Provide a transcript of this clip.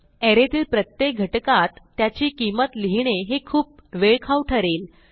अरे तील प्रत्येक घटकात त्याची किंमत लिहिणे हे खूप वेळखाऊ ठरेल